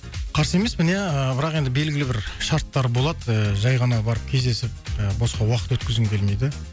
қарсы емеспін иә ыыы бірақ енді белгілі бір шарттар болады ыыы жай ғана барып кездесіп і босқа уақыт өткізгім келмейді